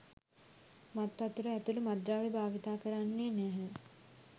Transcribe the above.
මත්වතුර ඇතුළු මත්ද්‍රව්‍ය භාවිතා කරන්නේ නැහැ.